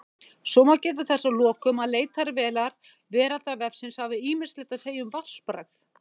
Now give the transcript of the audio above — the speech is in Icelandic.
Svo má geta þess að lokum að leitarvélar Veraldarvefsins hafa ýmislegt að segja um vatnsbragð.